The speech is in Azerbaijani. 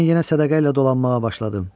Mən yenə sədaqəylə dolanmağa başladım.